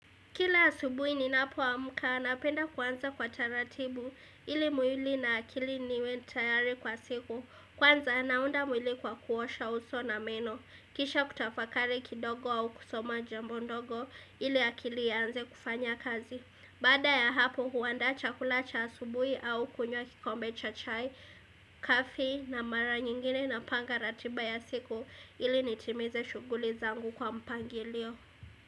Kila asubuhi ninapo amka napenda kuanza kwa taratibu ili mwili na akili niwe tayari kwa siku kwanza naunda mwili kwa kuosha uso na meno kisha kutafakari kidogo au kusoma jambo ndogo ili akili ianze kufanya kazi. Baada ya hapo huandaa chakula cha asubuhi au kunywa kikombe cha chai, kafi na mara nyingine na panga ratiba ya siku ili nitimize shughuli zangu kwa mpangilio.